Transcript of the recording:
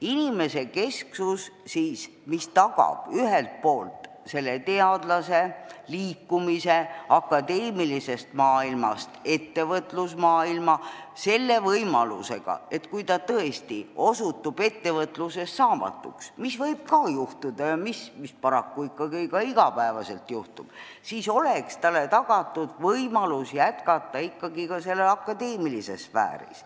Inimesekesksus, mis tagab ühelt poolt teadlase liikumise akadeemilisest maailmast ettevõtlusmaailma selle võimalusega, et kui ta tõesti osutub ettevõtluses saamatuks – mida võib ka juhtuda ja mida paraku ikkagi ka juhtub –, siis oleks talle tagatud võimalus jätkata akadeemilises sfääris.